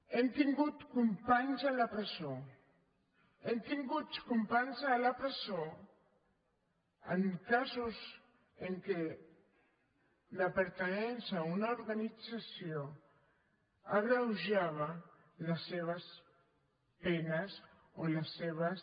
hem tingut companys a la presó hem tingut companys a la presó en casos en què la pertinença a una organització agreujava les seves penes o les seves